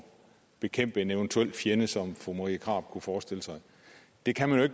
bekæmper en eventuel fjende som fru marie krarup kunne forestille sig og det kan man jo